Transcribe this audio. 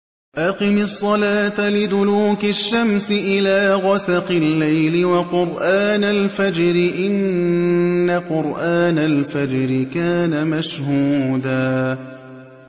أَقِمِ الصَّلَاةَ لِدُلُوكِ الشَّمْسِ إِلَىٰ غَسَقِ اللَّيْلِ وَقُرْآنَ الْفَجْرِ ۖ إِنَّ قُرْآنَ الْفَجْرِ كَانَ مَشْهُودًا